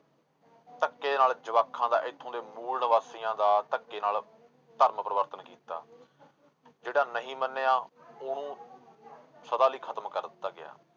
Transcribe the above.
ਧੱਕੇ ਨਾਲ ਜਵਾਕਾਂ ਦਾ ਇੱਥੋਂ ਦੇ ਮੂਲ ਨਿਵਾਸੀਆਂ ਦਾ ਧੱਕੇ ਨਾਲ ਧਰਮ ਪਰਿਵਰਤਨ ਕੀਤਾ ਜਿਹੜਾ ਨਹੀਂ ਮੰਨਿਆ ਉਹਨੂੰ ਸਦਾ ਲਈ ਖ਼ਤਮ ਕਰ ਦਿੱਤਾ ਗਿਆ।